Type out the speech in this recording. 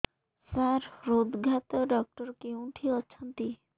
ସାର ହୃଦଘାତ ଡକ୍ଟର କେଉଁଠି ଅଛନ୍ତି